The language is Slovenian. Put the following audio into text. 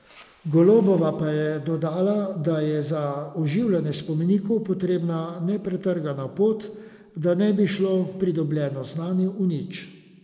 Golobova pa je dodala, da je za oživljanje spomenikov potrebna nepretrgana pot, da ne bi šlo pridobljeno znanje v nič.